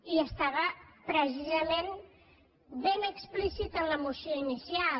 i estava precisament ben explícit en la moció inicial